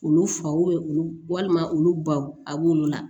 Olu faw olu walima olu baw a b'olu la